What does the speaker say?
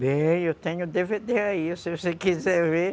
Bem, eu tenho o dê vê dê aí, se você quiser ver.